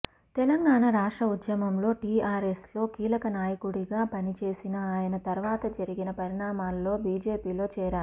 తెలంగాణ రాష్ట్ర ఉద్యమంలో టీఆర్ఎస్లో కీలక నాయకుడిగా పనిచేసిన ఆయన తర్వాత జరిగిన పరిణామాల్లో బీజేపీలో చేరారు